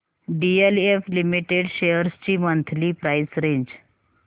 DLF limited shares ची monthly price range